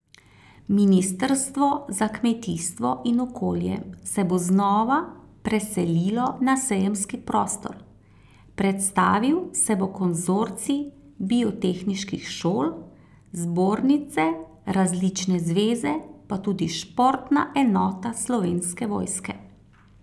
Ministrstvo za kmetijstvo in okolje se bo znova preselilo na sejemski prostor, predstavil se bo konzorcij biotehniških šol, zbornice, različne zveze, pa tudi športna enota Slovenske vojske.